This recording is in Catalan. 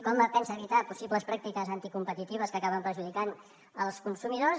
com pensa evitar possibles pràctiques anticompetitives que acaben perjudicant els consumidors